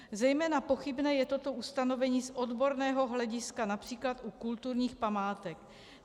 Zejména pochybné je toto ustanovení z odborného hlediska například u kulturních památek.